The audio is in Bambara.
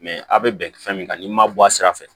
Mɛ a bɛ bɛn fɛn min kan n'i ma bɔ a sira fɛ